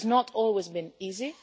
It has not always been easy.